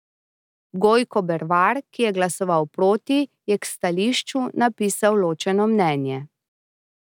Gojko Bervar, ki je glasoval proti, je k stališču napisal ločeno mnenje.